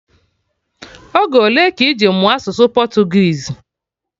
Oge ole ka iji mụọ asụsụ Portuguese?